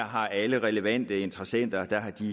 har alle relevante interessenter